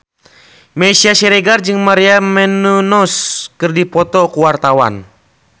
Meisya Siregar jeung Maria Menounos keur dipoto ku wartawan